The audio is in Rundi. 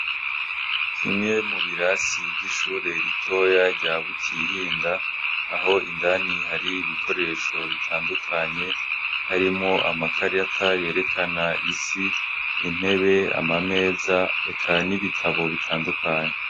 Kimwe mu birasi vy'ishure ritoya rya Butihinda aho indani hari ibikoresho bitandukanye harimwo amakarata yerekana isi, intebe ,amameza eka n' ibitabo bitandukanye.